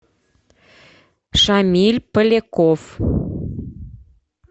шамиль поляков